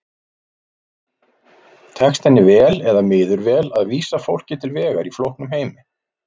Tekst henni vel eða miður vel að vísa fólki til vegar í flóknum heimi?